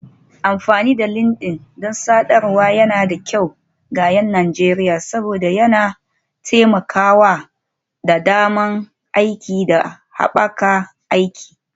Amfani da LinkedIn don sadarwar yana da kyau ga 'yan Najeriya saboda yana taimakawa da damar aiki da haɓaka aiki.